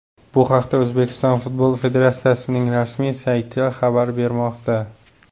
Bu haqda O‘zbekiston Futbol Federatsiyasining rasmiy sayti xabar bermoqda .